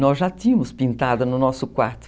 Nós já tínhamos pintado no nosso quarto.